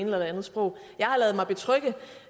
eller det andet sprog jeg har ladet mig betrygge